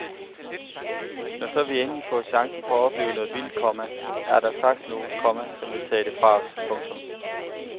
Når så vi endelig får chancen for at opleve noget vildt, komma er der straks nogle, komma som vil tage det fra os. punktum